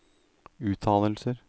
uttalelser